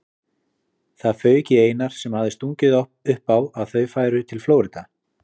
Það fauk í Einar sem hafði stungið upp á að þau færu til Flórída.